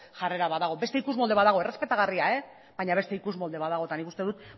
jarrera bat dago beste ikusmolde bat dago errespetagarria baina beste ikusmolde bat dago eta nik uste dut